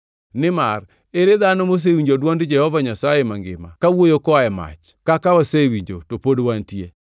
Nimar ere dhano mosewinjo dwond Jehova Nyasaye mangima kawuoyo koa e mach, kaka wasewinjo to pod wantie.